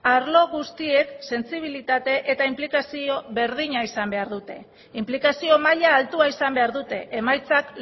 arlo guztiek sentsibilitate eta inplikazio berdina izan behar dute inplikazio maila altua izan behar dute emaitzak